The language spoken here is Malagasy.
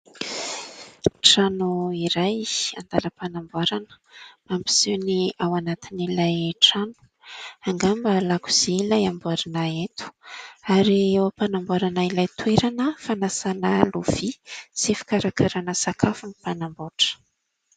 Trano iray an-dalam-panamboarana, mampiseho ny ao anatin'ilay trano, angamba lakozia ilay amboarina eto, ary eo am-panamboarana ilay toerana fanasana lovia sy fikarakarana sakafo ny mpanamboatra.